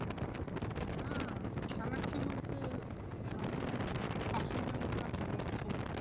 না খেলাচ্ছি বলতে পাশের গ্রামের ওরা খেলাচ্ছে,